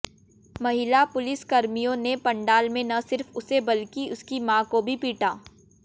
महिला पुलिसकर्मियों ने पंडाल में न सिर्फ उसे बल्कि उसकी मां को भी पीटा